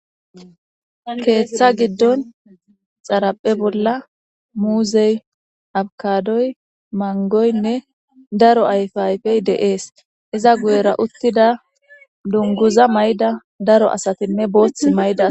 Keeththa giddon xaraphe bolla muuzey abkadoy mangoynne daro ayfe ayfey deees iza guyera uttida dunguza may7da daro asatinne boothth may7da.